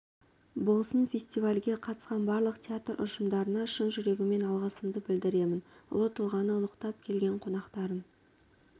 болсын фестивальге қатысқан барлық театр ұжымдарына шын жүрегіммен алғысымды білдіремін ұлы тұлғаны ұлықтап келген қонақтарын